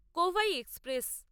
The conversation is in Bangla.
কোভাই এক্সপ্রেস